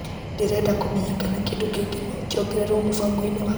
Ndĩreda kũmenya kana kĩndũ kĩngĩ no kĩongererwo mũbango-inĩ wakwa wa nyeni.